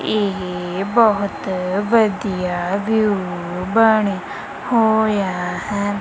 ਏਹ ਬਹੁਤ ਵਧੀਆ ਵਿਊ ਬਣਿਆ ਹੋਯਾ ਹੈ।